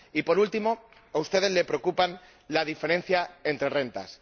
Y, por último, a ustedes les preocupa la diferencia entre rentas.